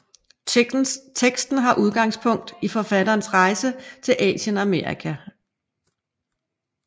Teksten har udgangspunkt i forfatterens rejse til Asien og Amerika